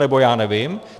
Nebo: Já nevím.